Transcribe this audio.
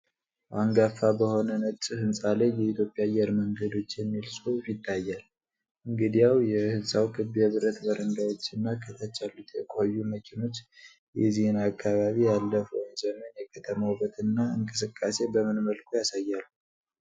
አንጋፋ በሆነ ነጭ ሕንፃ ላይ "የኢትዮጵያ አየር መንገዶች" የሚል ጽሑፍ ይታያል፤ እንግዲያው፣ የሕንፃው ክብ የብረት በረንዳዎችና ከታች ያሉት የቆዩ መኪኖች የዚህን አካባቢ ያለፈውን ዘመን የከተማ ውበትና እንቅስቃሴ በምን መልኩ ያሳያሉ?